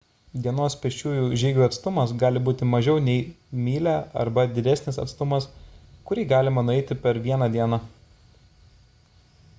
dienos pėsčiųjų žygių atstumas gali būti mažiau nei mylia arba didesnis atstumas kurį galima nueiti per vieną dieną